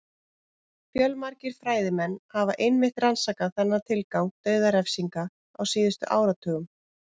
Fjölmargir fræðimenn hafa einmitt rannsakað þennan tilgang dauðarefsinga á síðustu áratugum.